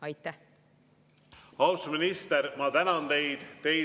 Austatud minister, ma tänan teid!